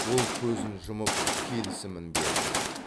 ол көзін жұмып келісімін берді